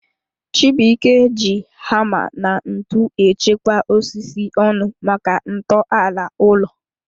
Chibuike ji hama na ntụ echekwa osisi ọnụ maka nto ala ulo